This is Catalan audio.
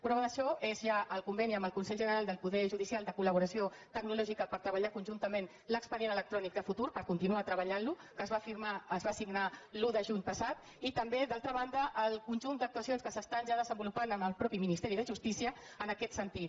prova d’això és ja el conveni amb el consell general del poder judicial de col·laboració tecnològica per treballar conjuntament l’expedient electrònic de futur per continuar treba·llant·lo que es va signar l’un de juny passat i tam·bé d’altra banda el conjunt d’actuacions que s’estan ja desenvolupant amb el mateix ministeri de justícia en aquest sentit